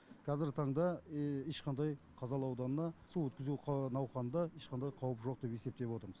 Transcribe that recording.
қазіргі таңда ешқандай қазалы ауданына су өткізу науқанында ешқандай қауіп жоқ деп есептеп отырмыз